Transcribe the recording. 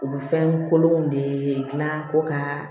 Olu fɛn kolonw de gilan ko ka